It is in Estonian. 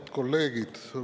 Head kolleegid!